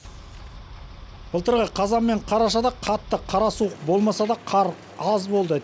былтырғы қазан мен қарашада қатты қара суық болмаса да қар аз болды